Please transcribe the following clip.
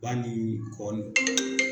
Ba ni kɔ ni